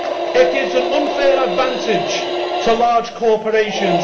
It gives an unfair advantage to large corporations.